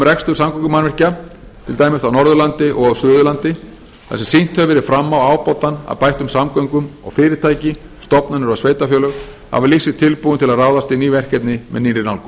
rekstur samgöngumannvirkja til dæmis á norðurlandi og á suðurlandi þar sem sýnt hefur verið fram á ábatann af bættum samgöngum og fyrirtæki stofnanir og sveitarfélög hafa lýst sig tilbúin til að ráðast í ný verkefni með nýrri nálgun